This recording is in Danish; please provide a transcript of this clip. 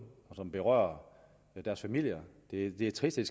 og som berører deres familier det er trist at